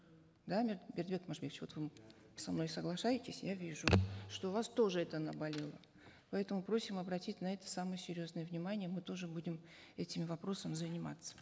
да бердыбек мажибекович вот вы со мной соглашаетесь я вижу что у вас тоже это наболело поэтому просим обратить на это самое серьезное внимание мы тоже будем этими вопросами заниматься